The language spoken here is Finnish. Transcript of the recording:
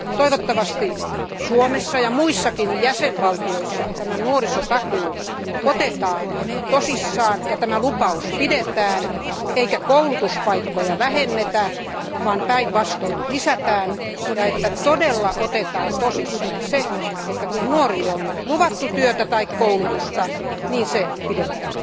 Toivottavasti Suomessa ja muissakin jäsenvaltioissa tämä nuorisotakuu otetaan tosissaan ja tämä lupaus pidetään eikä koulutuspaikkoja vähennetä, vaan päinvastoin lisätään, ja todella otetaan tosissaan se, että kun nuorille on nyt luvattu työtä tai koulutusta, niin se pidetään.